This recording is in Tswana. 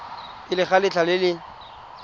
pele ga letlha le le